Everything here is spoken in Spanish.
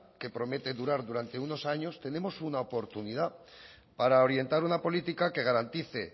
que promete durar durante unos años tenemos una oportunidad para orientar una política que garantice